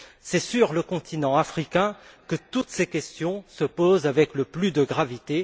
C'est sur le continent africain que toutes ces questions se posent avec le plus de gravité.